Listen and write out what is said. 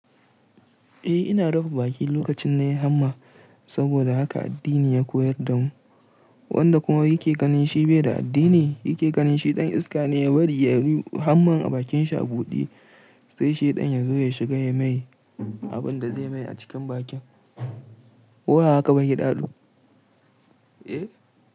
Eh ina rufe baki lokacin na yi hamma saboda haka addini ya koyar da mu, wanda kuma yake ganin shi bai da addini yake ganin shi ɗan iska ne ya bari ya yi hamman a bakin shi a buɗe sai shaiɗan yazo ya shiga ya mai abinda zai mai a cikin bakin. Koba haka baki ya daɗu. Eh.